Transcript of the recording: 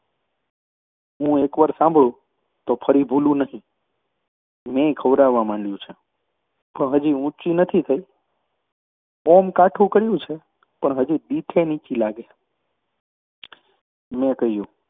હું એક વાર સાંભળું તો ભૂલું નહિ. મેંય ખવરાવવા માંડયું છે, પણ હજી ઊંચી નથી થઈ. ઓંમ કાઠું કર્યું છે. પણ હજી દીઠે નીચી લાગે. મેં કહ્યું